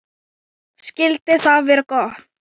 Skyldi það vera gott?